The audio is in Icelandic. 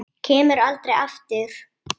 Kemur aldrei aftur.